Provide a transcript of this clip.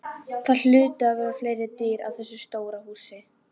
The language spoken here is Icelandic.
Það hlutu að vera fleiri dyr á þessu stóra húsi.